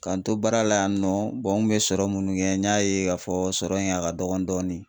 K'an to baara la yan nɔ n kun bɛ sɔrɔ munnu kɛ n y'a ye ka fɔ sɔrɔ in a ka dɔgɔn dɔɔni.